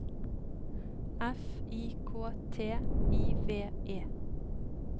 F I K T I V E